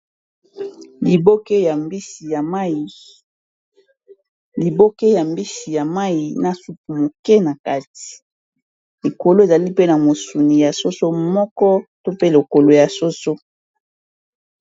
Liboke ya mbisi ya mayi na supu moke na kati, likolo ezali pe na mosuni ya soso moko to pe lokolo ya soso.